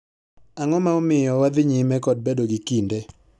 Ang'o ma omiyo wadhi nyime kod bedo gi kinde